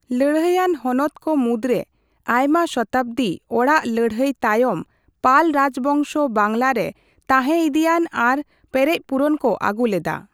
ᱞᱟᱹᱲᱦᱟᱹᱭ ᱟᱱ ᱦᱚᱱᱚᱛ ᱠᱚ ᱢᱩᱫᱨᱮ ᱟᱭᱢᱟ ᱥᱚᱛᱟᱵᱫᱤ ᱚᱲᱟᱜ ᱞᱟᱹᱲᱦᱟᱹᱭ ᱛᱟᱭᱚᱢ ᱯᱟᱞ ᱨᱟᱡᱽᱵᱚᱝᱥᱚ ᱵᱟᱝᱞᱟᱨᱮ ᱛᱟᱦᱮ ᱤᱫᱤᱭᱟᱱ ᱟᱨ ᱯᱮᱨᱮᱡᱯᱩᱨᱟᱱ ᱠᱚ ᱟᱹᱜᱩ ᱞᱮᱫᱟ᱾